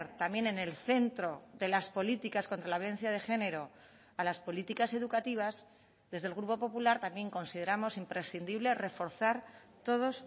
también en el centro de las políticas contra la violencia de género a las políticas educativas desde el grupo popular también consideramos imprescindible reforzar todos